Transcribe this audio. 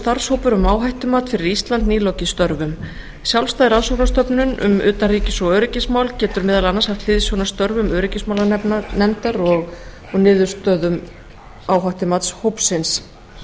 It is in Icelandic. starfshópur um áhættumat fyrir ísland nýlokið störfum sjálfstæð rannsóknarstofnun um utanríkis og öryggismál getur meðal annars haft hliðsjón af störfum öryggismálanefndar og niðurstöðum áhættumatshópsins meiri